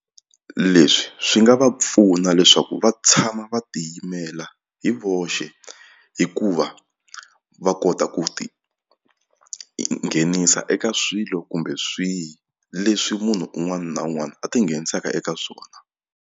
Leswi swi nga va pfuna leswaku va tshama va tiyimela hi voxe hikuva va kota ku ti nghenisa eka swilo kumbe swihi leswi munhu un'wana na un'wana a tinghenisaka eka swona.